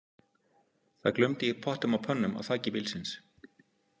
Það glumdi í pottum og pönnum á þaki bílsins.